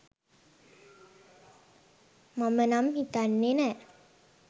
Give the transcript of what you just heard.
මම නම් හිතන්නෙ නෑ